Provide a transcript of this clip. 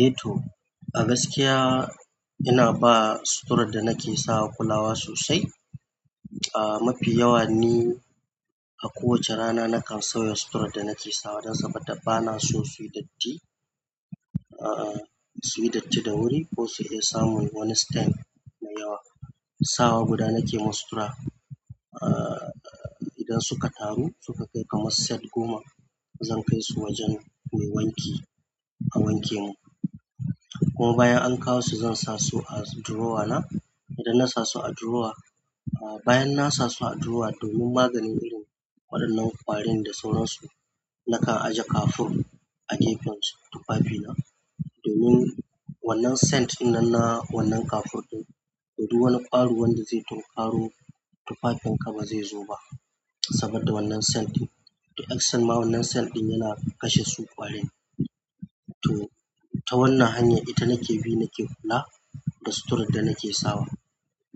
Eh to, a gaskiya ina ba suturar da nake sawa kulawa sosai. Ah mafi yawa ni a kowace rana nakan sauya suturar da nake sawa don sabadda bana so suyi datti. Ah suyi datti da wuri ko su iya samun wani stain mai yawa. Sawa guda nake ma sutura. Ahh. Idan suka taru suka kai kamar set goma zan kaisu wajen mai wanki a wanke min kuma bayan an kawo su zan sa su a drawer na. Idan na sa su a drawer, ah bayan na sa su a drawer domin maganin irin waɗannan ƙwarin da sauran su, nakan aje kafur a gefen tufafi na. Domin wannan scent ɗinnan na wannan kafur ɗin, toh duk wani ƙwaro wanda zai tunkaro tufafin ka ba zai zo ba sabodda wannan scent ɗin. To the extent ma wannan scent ɗin yana kashe su ƙwarin. To ta wannan hanyar ita nake bi nake kula da suturar da nake sawa.